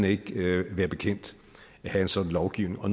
ikke være bekendt at have en sådan lovgivning og